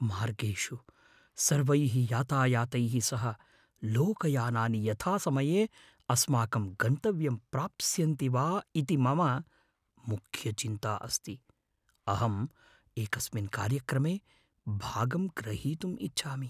मार्गेषु सर्वैः यातायातैः सह लोकयानानि यथासमये अस्माकं गन्तव्यं प्राप्स्यन्ति वा इति मम मुख्यचिन्ता अस्ति। अहं एकस्मिन् कार्यक्रमे भागं ग्रहीतुं इच्छामि।